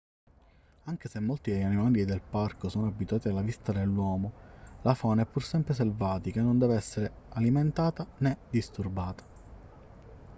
anche se molti degli animali del parco sono abituati alla vista dell'uomo la fauna è pur sempre selvatica e non deve essere alimentata né disturbata